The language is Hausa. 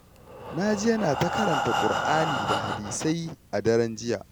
Na ji yana ta karanta Ƙur'ani da hadisai a daren jiya